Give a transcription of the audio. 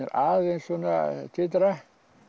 að titra